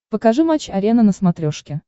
покажи матч арена на смотрешке